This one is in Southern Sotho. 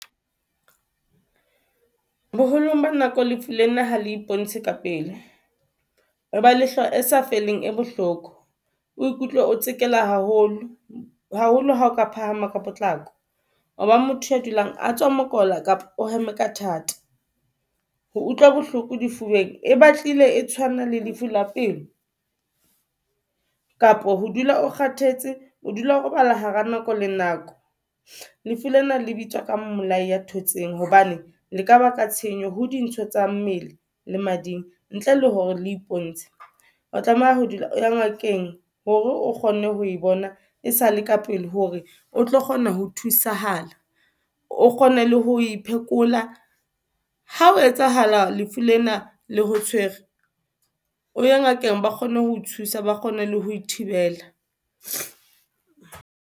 Boholong ba nako lefu le na ha le ibontshe ka pele. O ba le hlooho e sa feleng e bohloko, o ikutlwe o tsekela haholo. Haholo ha o ka phahama ka potlako. O ba motho ya dulang a tswa mokola, kapa o hema ka thata. Ho utlwa bohloko difubeng, e batlile e tshwana le lefu la pelo. Kapa ho dula o kgathetse, o dula o robala hara nako le nako. Lefu lena le bitswang ka mmolayi ya thotseng hobane le ka baka tshenyo ho dintho tsa mmele le mading, ntle le hore le iponetse, o tlameha ho dula o ye ngakeng hore o kgonne ho e bona e sale ka pele. Hore o tlo kgona ho thusahala o kgone le ho iphekola. Ha o etsahala lefu lena le ho tshwere o ye ngakeng ba kgone ho thusa ba kgone le ho thibela.